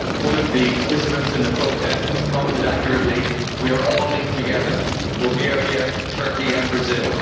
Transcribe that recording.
One of the participants in the protests commented accurately We are all linked together Bulgaria, Turkey and Brazil.